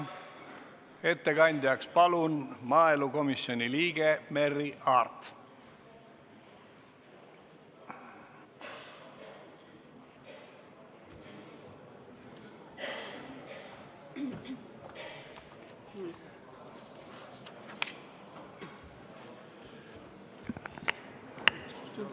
Ettekandjaks palun maaelukomisjoni liikme Merry Aarti!